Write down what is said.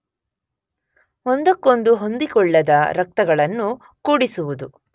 ಒಂದಕ್ಕೊಂದು ಹೊಂದಿಕೊಳ್ಳದ ರಕ್ತಗಳನ್ನು ಕೂಡಿಸುವುದು